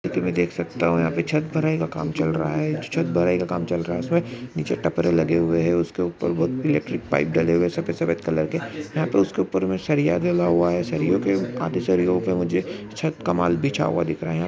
ये तो मैं देख सकता हु यहा पर छत भराई का काम चल रहा है जो छत भराई का काम चल रहा है उसमे नीचे टपरे लगे हुए है उसके ऊपर बहुत इलेक्ट्रिक पाइप डले हुए सफेद सफेद कलर के यहा पे उसके ऊपर मे सरिया डला हुआ है आधे सरियों पे मुझे छत का माल बिछा हुआ दिख रहा है।